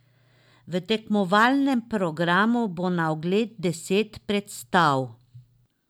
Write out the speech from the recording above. V tekmovalnem programu bo na ogled deset predstav.